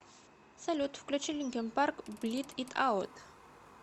салют включи линкин парк блид ит аут